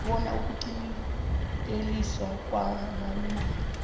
bona ukuqinteliswa kwamalungelo